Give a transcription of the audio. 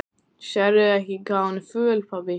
Sérðu ekki hvað hún er föl, pabbi?